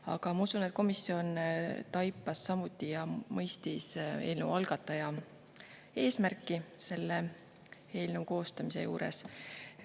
Aga ma usun, et komisjon mõistis eelnõu algataja eesmärki, mis tal eelnõu koostades oli.